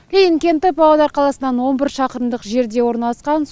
ленин кенті павлодар қаласынан он бір шақырымдық жерде орналасқан